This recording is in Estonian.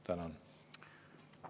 Tänan!